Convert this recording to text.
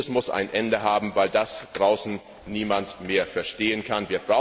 muss ein Ende haben, weil das draußen niemand mehr verstehen kann.